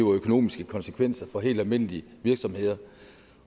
og økonomiske konsekvenser for helt almindelige virksomheder